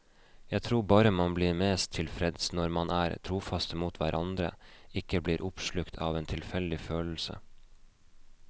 Jeg tror bare man blir mest tilfreds når man er trofaste mot hverandre, ikke blir oppslukt av en tilfeldig følelse.